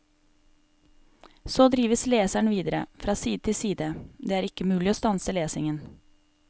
Så drives leseren videre, fra side til side, det er ikke mulig å stanse lesningen.